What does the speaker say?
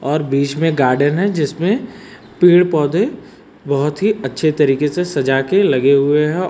और बीच में गार्डन है जिसमें पेड़ पौधे बहोत ही अच्छे तरीके से सजा के लगे हुए हैं।